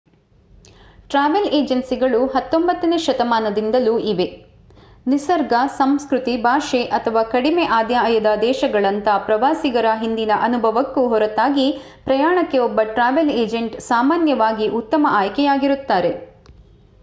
travel ಏಜೆನ್ಸಿಗಳು 19ನೇ ಶತಮಾನದಿಂದಲೂ ಇವೆ ನಿಸರ್ಗ ಸಂಸ್ಕೃತಿ ಭಾಷೆ ಅಥವಾ ಕಡಿಮೆ ಆದಾಯದ ದೇಶಗಳಂತಹ ಪ್ರವಾಸಿಗರ ಹಿಂದಿನ ಅನುಭವಕ್ಕೂ ಹೊರತಾಗಿ ಪ್ರಯಾಣಕ್ಕೆ ಒಬ್ಬ ಟ್ರಾವೆಲ್ ಏಜೆಂಟ್ ಸಾಮಾನ್ಯವಾಗಿ ಉತ್ತಮ ಆಯ್ಕೆಯಾಗಿರುತ್ತಾರೆ